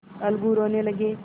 अलगू रोने लगे